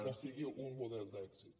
que sigui un model d’èxit